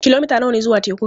Kilomita nawa ne zuwa tekun?